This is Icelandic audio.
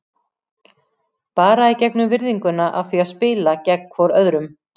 Bara í gegnum virðinguna af því að spila gegn hvorum öðrum.